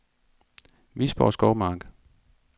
Visborg Skovmark